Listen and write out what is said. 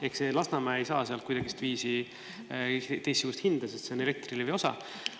Ehk Lasnamäe ei saa sealt kuidagiviisi teistsugust hinda, sest see on Elektrilevi osa.